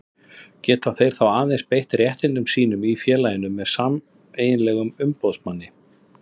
Geta þeir þá aðeins beitt réttindum sínum í félaginu með sameiginlegum umboðsmanni.